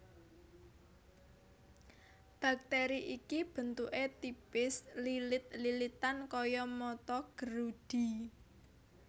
Bakteri iki bentuké tipis lilit lilitan kaya mata gerudi